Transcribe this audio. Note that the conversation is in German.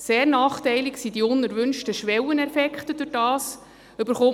Sehr nachteilig sind die unerwünschten Schwelleneffekte, die dadurch entstehen: